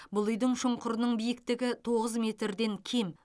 бұл үйдің шұңқырының биіктігі тоғыз метрден кем